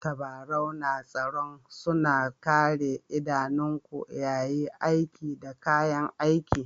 Tabarau na tsaro suna Kare idanunku yayi aiki da kayan aiki.